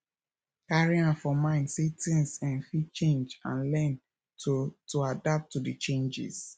carry am for mind sey things um fit change and learn to to adapt to di changes